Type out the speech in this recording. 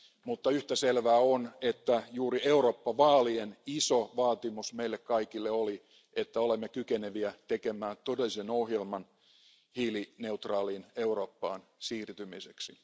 Mutta yhtä selvää on, että juuri EU vaalien iso vaatimus meille kaikille oli, että olemme kykeneviä toteuttamaan todellisen ohjelman hiilineutraaliin Eurooppaan siirtymiseksi.